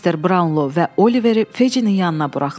Mister Braunlo və Oliveri Feccinin yanına buraxdılar.